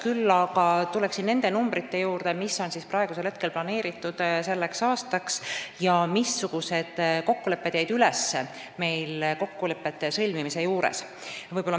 Küll aga tulen nende numbrite juurde, mis on planeeritud selleks aastaks, ja räägin, missugused summad jäid üles kokkulepete sõlmimise järel.